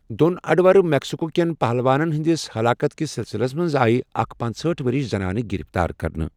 دۄن اڈٕورٕ میکسكو كینٕ پہلوانَن ہٕنٛدِس ہلاكت كِس سِلسِلس منٛز آیہ اكھ پانٛژہٲٹھ ؤرِش زنانہٕ گرفتار کَرنہٕ۔